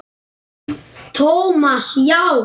Thomas, já.